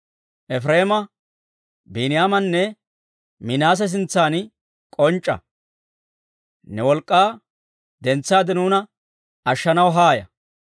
Efireema, Biiniyaamanne Minaase sintsan k'onc'c'a. Ne wolk'k'aa dentsaade nuuna ashshanaw haaya.